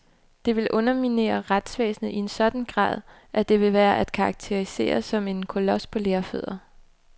Det vil underminere retsvæsenet i en sådan grad, at det vil være at karakterisere som en kolos på lerfødder.